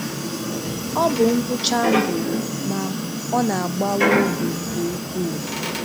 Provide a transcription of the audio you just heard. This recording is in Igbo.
Ọ bụ ngwụcha ndụ, ma ọ na-agbawa obi nke ukwuu